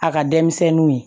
A ka denmisɛnninw ye